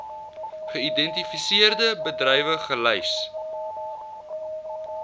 geïdentifiseerde bedrywe gelys